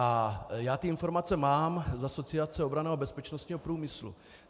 A já ty informace mám z Asociace obranného a bezpečnostního průmyslu.